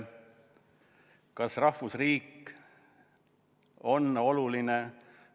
Kas rahvusriik on oluline?